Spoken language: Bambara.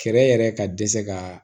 Fɛɛrɛ yɛrɛ ka dɛsɛ ka